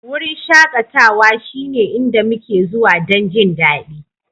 Wurin shakatawa shine inda muke zuwa don jin daɗi